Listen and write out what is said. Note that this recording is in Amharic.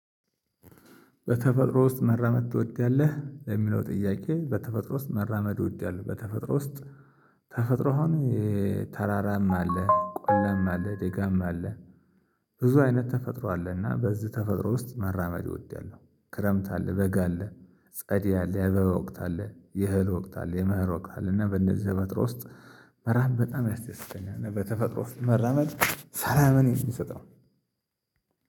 በተፈጥሮ ውስጥ መራመድ ትወዳለህ? ለሚለው ጥያቄ በተፈጥሮ ውስጥ መራመድ እወዳለሁ። በተፈጥሮ ውስጥ ተፈጥሮ አሁን ተራራም አለ፣ ቆላም አለ፣ ደጋም አለ። ብዙ አይነት ተፈጥሮ አለ። እና በዚህ ተፈጥሮ ውስጥ መራመድ እወዳለሁ። ክረምት አለ፣ በጋ አለ፣ ጸደይ አለ፣ የአበባ ወቅት አለ፣ የእህል ወቅት አለ፣ የመኸር ወቅት አለ። እና በእነዚህ ተፈጥሮ ውስጥ መራመድ በጣም ያስደስተኛል። በተፈጥሮ መራመድ ሰላምን ነው የሚሰጠው።